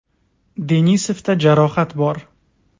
Denisovda jarohat bor.